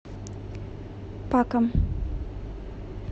паком